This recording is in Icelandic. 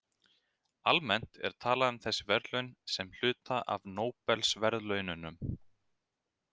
Almennt er talað um þessi verðlaun sem hluta af Nóbelsverðlaununum.